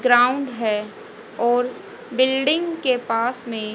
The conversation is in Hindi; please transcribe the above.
ग्राउंड है और बिल्डिंग के पास मे--